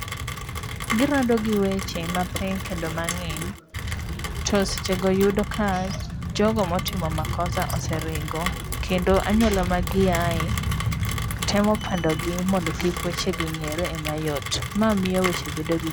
Girado gi weche mapek kendo mang'eny to sechego yudo ka jogo motimo makosa[ce] oseringo kendo anyuola magiaye temo pandogi mondo kik wechego ng'ere e mayot ma miyo weche bedo